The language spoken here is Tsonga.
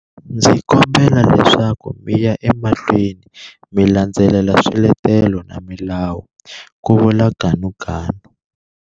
Ndzi kombela leswaku mi ya emahlweni mi landzelela swiletelo na milawu, ku vula Ganuganu.